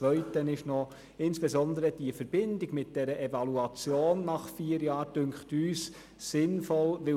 Der zweite Punkt, der aus unserer Sicht für die Gesetzesänderung spricht, ist die Evaluation nach vier Jahren, die uns sinnvoll erscheint.